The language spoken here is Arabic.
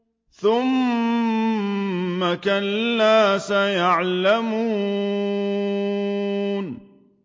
ثُمَّ كَلَّا سَيَعْلَمُونَ